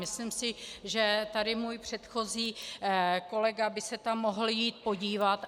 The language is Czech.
Myslím si, že tady můj předchozí kolega by se tam mohl jít podívat.